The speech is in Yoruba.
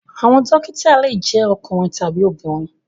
Àwọn dókítà le jẹ ọkùnrin tabi obìnrin.